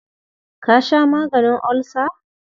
Ka sha maganin ulcer?